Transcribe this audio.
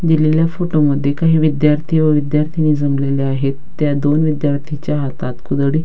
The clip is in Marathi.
दिलेल्या फोटो मध्ये काही विद्यार्थी व विद्यार्थीनी जमलेल्या आहेत त्या दोन विद्यार्थीच्या हातात कुदळी --